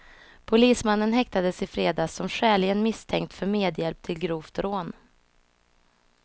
Polismannen häktades i fredags som skäligen misstänkt för medhjälp till grovt rån.